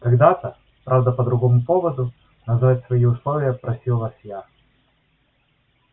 когда-то правда по другому поводу назвать свои условия просил вас я